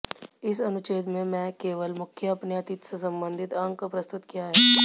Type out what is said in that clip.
इस अनुच्छेद में मैं केवल मुख्य अपने अतीत से संबंधित अंक प्रस्तुत किया है